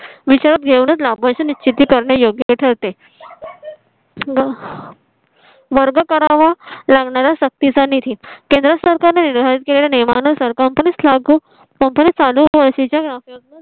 विचारात घेऊनच लाभ निश्चित करणे योग्य ठरते. अह वर्ग करावा लागणारा सक्तीचा निधीत केंद्र सरकारने जाहीर केलेल्या नियमानुसार company च्या लागू company चालू Policy च्या